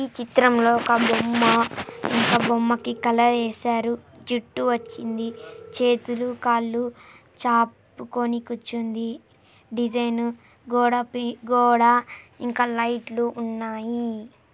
ఈ చిత్రంలో ఒక బొమ్మ ఈ బొమ్మకి కలర్ వేశారు. జుట్టు వచ్చింది. చేతులు కాళ్ళు చాపు కొని కూర్చుంది. డిజైను గోడపి గోడ ఇంకా లైట్లు ఉన్నాయి.